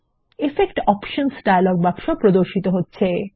effect appearance dialogue বাক্স প্রদর্শিত হচ্ছে